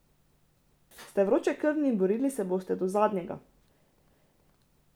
Ste vročekrvni in borili se boste do zadnjega.